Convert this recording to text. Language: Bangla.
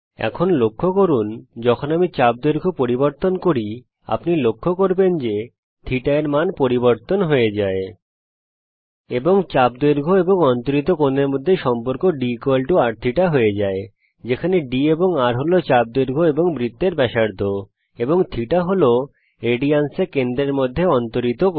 এখন লক্ষ্য করুন যখন আমি চাপ দৈর্ঘ্য পরিবর্তন করি আপনি লক্ষ্য করবেন যে θ এর মান পরিবর্তন হয়ে যায় এবং চাপ দৈর্ঘ্য এবং অন্তরিত কোণের মধ্যে সম্পর্ক drθ হয়ে যায় যেখানে d হল r হল চাপ দৈর্ঘ্য বৃত্তের ব্যাসার্ধ এবং θ হল রেডিয়ানস এ কেন্দ্রের মধ্যে অন্তরিত কোণ